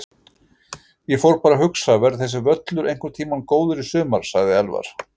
Ég fór bara að hugsa: Verður þessi völlur einhvern tímann góður í sumar? sagði Elvar.